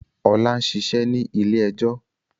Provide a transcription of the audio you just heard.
Ọlá ń ṣiṣẹ́ ní ilé-ẹjọ́.